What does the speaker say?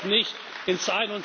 Das gehört nicht